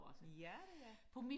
ja det er